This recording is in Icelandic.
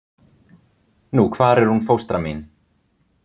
Nú hvar er hún fóstra mín?